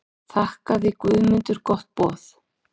Þakkaði Guðmundur gott boð.